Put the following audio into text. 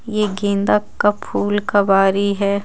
ये गेंदा का फूल का वारी है.